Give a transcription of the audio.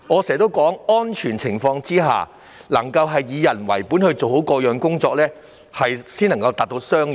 在安全的情況下以人為本地處理好各項工作，才可達致雙贏。